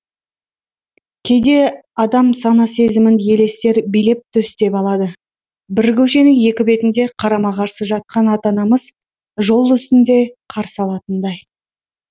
кейде адам сана сезімін елестер билеп төстеп алады бір көшенің екі бетінде қарама қарсы жатқан ата анамыз жол үстінде қарсы алатындай